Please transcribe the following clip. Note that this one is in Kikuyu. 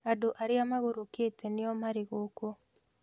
Andũ arĩa magorokete nĩo marĩ gũkũ.